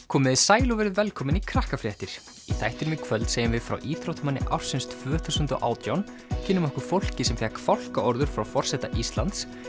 komiði sæl og verið velkomin í Krakkafréttir í þættinum í kvöld segjum við frá íþróttamanni ársins tvö þúsund og átján kynnum okkur fólkið sem fékk fálkaorður frá forseta Íslands